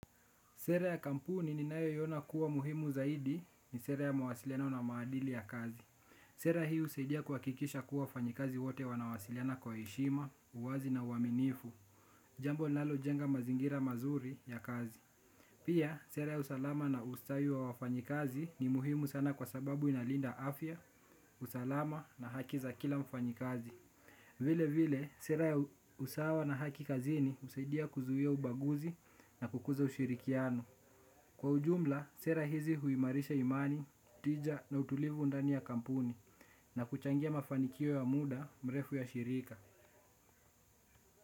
Sera ya kampuni ninayo iona kuwa muhimu zaidi ni sera ya mawasiliano na maadili ya kazi. Sera hiu usaidia kuwakikisha kuwa wafanyikazi wote wanawasiliana kwa heshima, uwazi na uwaminifu, jambo linalo jenga mazingira mazuri ya kazi. Pia, sera ya usalama na ustawi wa wafanyikazi ni muhimu sana kwa sababu inalinda afya, usalama na haki za kila mfanyikazi. Vile vile, sera ya usawa na haki kazini usaidia kuzuhia ubaguzi na kukuza ushirikiano. Kwa ujumla, sera hizi huimarisha imani, tija na utulivu undani ya kampuni na kuchangia mafanikio ya muda mrefu ya shirika.